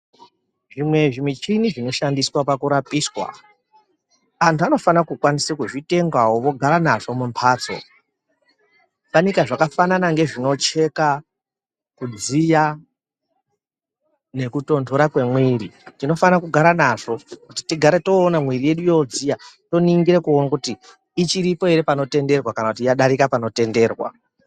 Zvimwe zvimichini zvinoshandiswa pakurapiswa, antu anofana kukwanise kuzvitengawo vogara nazvo mumbatso. Fanika zvakafanana ngezvinocheka kudziya nekutondora kwemwiri. Tinofana kugara nazvo kuti tigare toona mwiiri yedu yodziya, toningire kuone kuti ichiripo ere panotenderwa kana kuti yadarika panotenderwa.